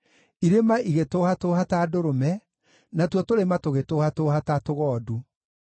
Irĩma igĩtũhatũũha ta ndũrũme, natuo tũrĩma tũgĩtũhatũũha ta tũgondu.